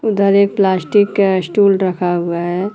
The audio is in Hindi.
उधर एक प्लास्टिक का स्टूल रखा हुआ है।